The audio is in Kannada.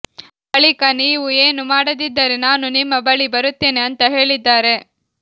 ಬಳಿಕ ನೀವು ಏನು ಮಾಡದಿದ್ದರೆ ನಾನು ನಿಮ್ಮ ಬಳಿ ಬರುತ್ತೇನೆ ಅಂತಾ ಹೇಳಿದ್ದಾರೆ